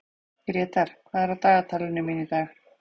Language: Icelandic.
Grétar, hvað er á dagatalinu mínu í dag?